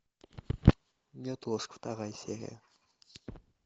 неотложка вторая серия